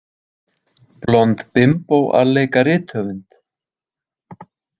Blond bimbó að leika rithöfund?